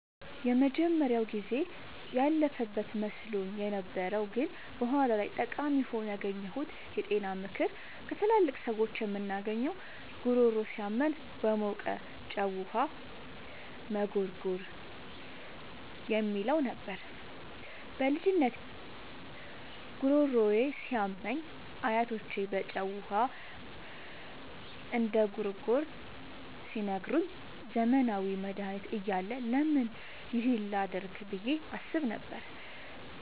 የመጀመሪያው ጊዜ ያለፈበት መስሎኝ የነበረው ግን በኋላ ላይ ጠቃሚ ሆኖ ያገኘሁት የጤና ምክር ከትላልቅ ሰዎች የምናገኘው "ጉሮሮ ሲያመን በሞቀ ጨው ውሃ መጉርጎር" የሚለው ነበር። በልጅነቴ ጉሮሮዬ ሲያመኝ አያቶቼ በጨው ውሃ እንድጉርጎር ሲነግሩኝ፣ ዘመናዊ መድሃኒት እያለ ለምን ይህን ላደርግ ብዬ አስብ ነበር።